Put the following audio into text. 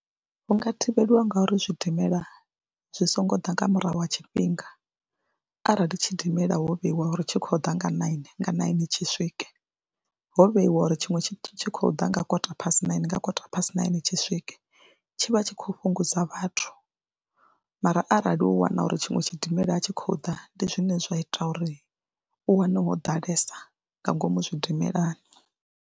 Hu nga thivhelwa ngauri zwidimela zwi songo ḓa nga murahu ha tshifhinga arali tshidimela ho vheyiwa uri tshi khou ḓa nga naini nga naini tshi swike, ho vheyiwa uri tshiṅwe tshi tshi khou ḓa nga kota phasi naini nga kota phasi naine tshi swike tshi vha tshi khou fhungudza vhathu mara arali u wana uri tshiṅwe tshidimela a tshi khou ḓa ndi zwine zwa ita uri u wane ho ḓalesa nga ngomu zwiidimelani.